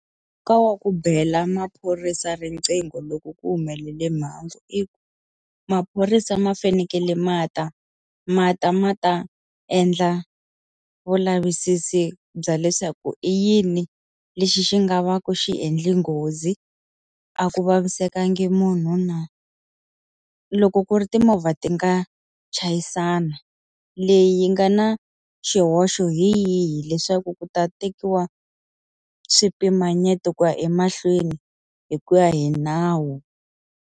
Ka wa ku bela maphorisa riqingho loko ku humelele mhangu i ku, maphorisa ma fanekele ma ta, ma ta ma ta endla vulavisisi bya leswaku i yini lexi xi nga va ku xi endle nghozi. A ku vavisekanga munhu na. Loko ku ri timovha ti nga chayisana, leyi yi nga na xihoxo hi yihi leswaku ku ta tekiwa swipimanyeto ku ya emahlweni hi ku ya hi nawu.